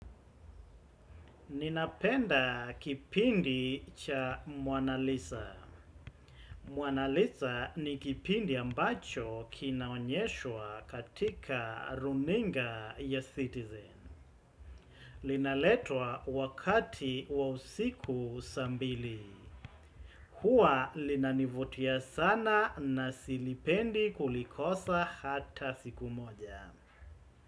Ninapenda kipindi cha monalisa. Monalisa ni kipindi ambacho kinaonyeshwa katika runinga ya citizen. Linaletwa wakati wa usiku saa mbili. Huwa linanivutia sana na silipendi kulikosa hata siku moja.